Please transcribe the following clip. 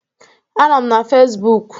Anọ m na Fezbụk.